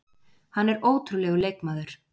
Hann er ótrúlegur leikmaður.